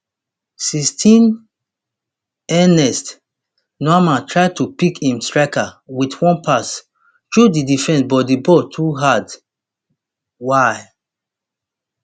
sixteenernest nuamah try to pick im striker wit one pass thru di defense but di ball too hard wia